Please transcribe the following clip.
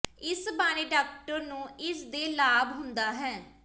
ਇਸ ਬਾਰੇ ਡਾਕਟਰ ਨੂੰ ਇਸ ਦੇ ਲਾਭ ਹੁੰਦਾ ਹੈ